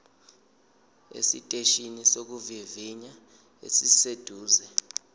esiteshini sokuvivinya esiseduze